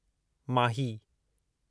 माही